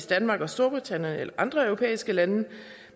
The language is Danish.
danmark storbritannien eller andre europæiske lande